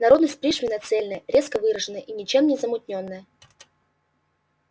народность пришвина цельная резко выраженная и ничем не замутнённая